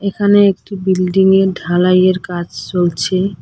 এখানে একটি বিল্ডিংয়ের ঢালাইয়ের কাজ চলছে।